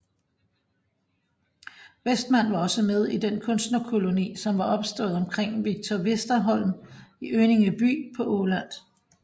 Westman var også med i den kunstnerkoloni som var opstået omkring Victor Westerholm i Önningeby på Åland